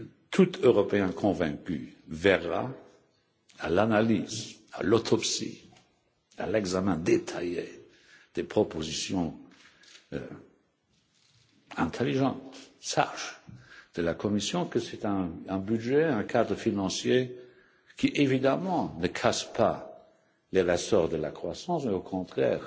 Tout Européen convaincu verra à l'analyse, à l'autopsie, à l'examen détaillé des propositions intelligentes, sages de la Commission, que c'est un budget, un cadre financier qui évidemment ne casse pas les ressorts de la croissance, mais au contraire